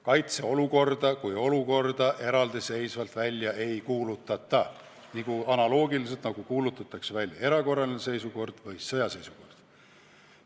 Kaitseolukorda kui olukorda eraldiseisvalt niimoodi välja ei kuulutata, nagu kuulutatakse välja erakorraline seisukord või sõjaseisukord.